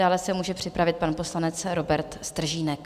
Dále se může připravit pan poslanec Robert Stržínek.